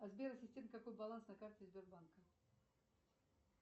сбер ассистент какой баланс на карте сбербанка